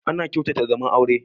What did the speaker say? Ana kyautata zaman aure